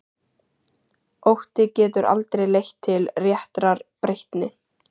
Ótti getur aldrei leitt til réttrar breytni.